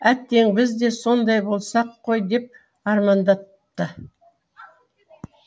әттең біз де сондай болсақ қой деп армандапты